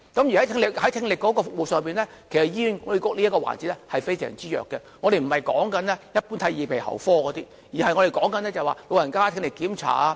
醫院管理局在聽力服務這個環節非常弱，我所指的不是一般的耳鼻喉科，而是長者聽力檢查。